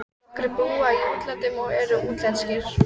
Nokkrir búa í útlandinu og eru útlenskir.